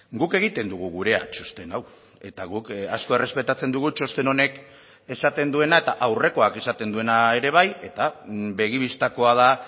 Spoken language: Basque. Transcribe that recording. guk egiten dugu gurea txosten hau eta guk asko errespetatzen dugu txosten honek esaten duena eta aurrekoak esaten duena ere bai eta begi bistakoa da